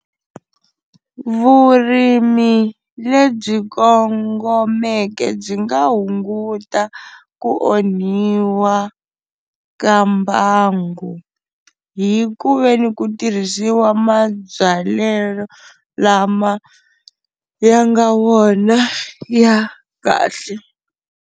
Vurimi lebyi kongomeke byi nga hunguta ku onhiwa ka mbangu, hi ku veni ku tirhisiwa mabyalelo lama ya nga wona ya kahle.